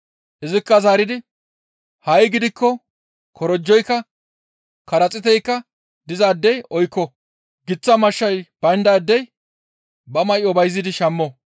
Izikka zaaridi, «Ha7i gidikko korojoykka, qaraxiiteykka dizaadey oykko; giththa mashshay bayndaadey ba may7o bayzidi shammo.